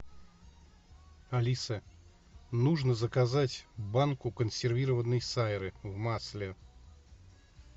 алиса нужно заказать банку консервированной сайры в масле